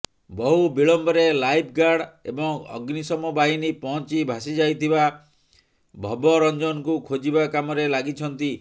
ବହୁ ବିଳମ୍ବରେ lifeguard ଏବଂ ଅଗ୍ନିଶମବାହିନୀ ପହଞ୍ଚି ଭାସିଯାଇଥିବା ଭବରଞ୍ଜନଙ୍କୁ ଖୋଜିବା କାମରେ ଲାଗିଛନ୍ତି